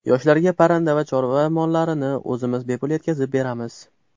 Yoshlarga parranda va chorva mollarini o‘zimiz bepul yetkazib beramiz.